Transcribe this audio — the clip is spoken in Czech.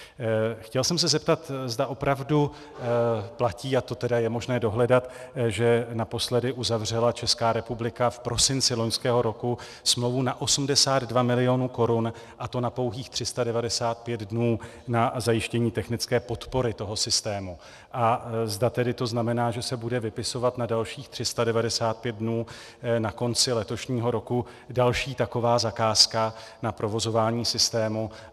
Chtěl jsem se zeptat, zda opravdu platí, a to tedy je možné dohledat, že naposledy uzavřela Česká republika v prosinci loňského roku smlouvu na 82 milionů korun, a to na pouhých 395 dnů, na zajištění technické podpory toho systému, a zda to tedy znamená, že se bude vypisovat na dalších 395 dnů na konci letošního roku další taková zakázka na provozování systému.